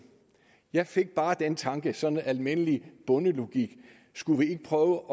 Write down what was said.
jeg fik bare den tanke sådan almindelig bondelogik skulle vi ikke prøve